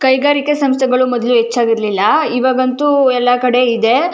ಕೈಗಾರಿಕೆ ಸಂಸ್ಥೆಗಳು ಮೊದಲು ಹೆಚ್ಚಾಗಿರಲಿಲ್ಲ ಇವಾಗಂತೂ ಎಲ್ಲ ಕಡೆ ಇದೆ.